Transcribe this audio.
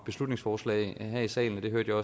beslutningsforslag her i salen og det hørte